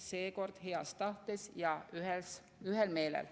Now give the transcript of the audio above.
Seekord heas tahtes ja ühel meelel.